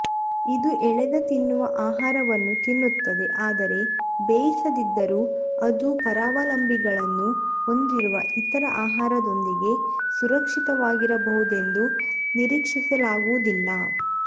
ಇದು ಎಳೆದ ತಿನ್ನುವ ಆಹಾರವನ್ನು ತಿನ್ನುತ್ತದೆ ಆದರೆ ಬೇಯಿಸದಿದ್ದರೂ ಅದು ಪರಾವಲಂಬಿಗಳನ್ನು ಹೊಂದಿರುವ ಇತರ ಆಹಾರದೊಂದಿಗೆ ಸುರಕ್ಷಿತವಾಗಿರಬಹುದೆಂದು ನಿರೀಕ್ಷಿಸಲಾಗುವುದಿಲ್ಲ